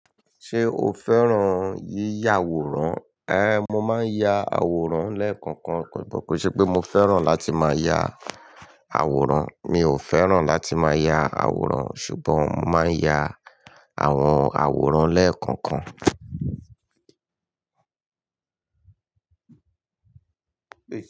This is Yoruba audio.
Ṣé o fẹ́ràn yí yà àwòrán? Ẹ̀, mo máa ń ya àwòrán lẹ́ẹ̀kọ̀kan, kó kò ṣe pé mo fẹ́ràn láti máa ya àwòrán, mi ò fẹ́ràn láti máa ya àwòrán ṣùgbọ́n mo máa ń ya àwọn àwòrán lẹ́ẹ̀kọ̀kan.